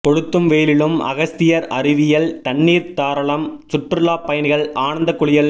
கொளுத்தும் வெயிலிலும் அகஸ்தியர் அருவியில் தண்ணீர் தாராளம் சுற்றுலா பயணிகள் ஆனந்த குளியல்